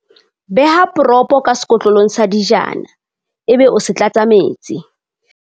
beha poropo ka sekotlolong sa dijana ebe o se tlatsa metsi